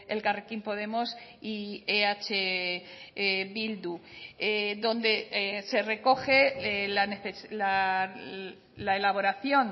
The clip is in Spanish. elkarrekin podemos y eh bildu donde se recoge la elaboración